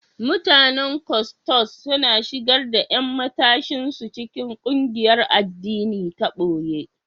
Mutanen Kwottos suna shigar da ƴan matashin su cikin ƙungiyar addini ta boye.